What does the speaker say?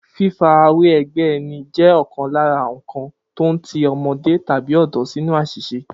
Fífarawé e̩gbé̩ e̩ni jé̩ ò̩kan lára àwo̩n nǹkan tó ń ti o̩mo̩dé tàbí ò̩dó̩ sínú às̩ìs̩e